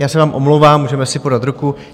Já se vám omlouvám, můžeme si podat ruku.